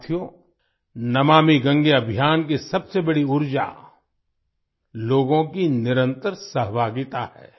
साथियो नमामि गंगे अभियान की सबसे बड़ी ऊर्जा लोगों की निरंतर सहभागिता है